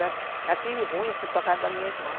Já tive fui para a casa da minha irmã.